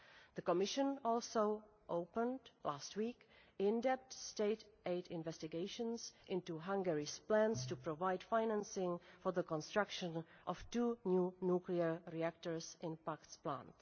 The Commission also opened, last week, in depth state aid investigations into Hungary's plans to provide financing for the construction of two new nuclear reactors in the Paks plant.